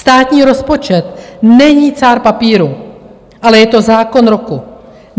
Státní rozpočet není cár papíru, ale je to zákon roku.